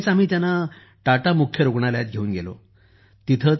लगेच आम्ही त्यांना टाटा मुख्य रूग्णालयात घेऊन गेलो